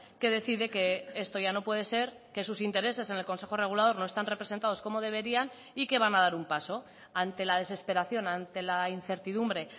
que decide que esto ya no puede ser que sus intereses en el consejo regulador no están representados como deberían y que van a dar un paso ante la desesperación ante la incertidumbre